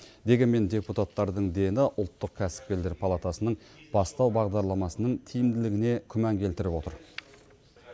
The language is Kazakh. дегенмен депутаттардың дені ұлттық кәсіпкерлер палатасының бастау бағдарламасының тиімділігіне күмән келтіріп отыр